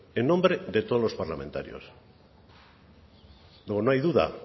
en nombre de todos los parlamentarios luego no hay duda